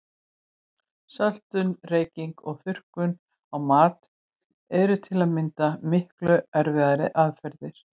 Söltun, reyking og þurrkun á mat eru til að mynda miklu eldri aðferðir.